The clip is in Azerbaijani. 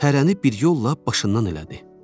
Hərəni bir yolla başından elədi.